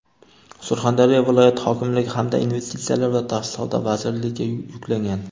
Surxondaryo viloyati hokimligi hamda Investitsiyalar va tashqi savdo vazirligiga yuklangan.